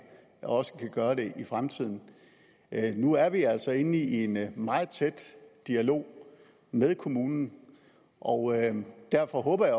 også kan gøre det i fremtiden nu er vi altså inde i en meget tæt dialog med kommunen og derfor håber jeg